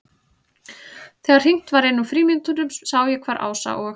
Þegar hringt var inn úr frímínútunum sá ég hvar Ása og